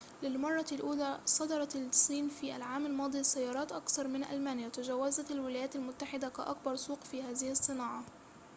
للمرّة الأولى صدّرت الصين في العام الماضي سيّارات أكثر من ألمانيا وتجاوزت الولايات المتحدة كأكبر سوق في هذه الصناعة